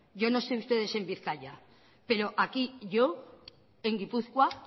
yo no sé ustedes en bizkaia pero aquí yo en gipuzkoa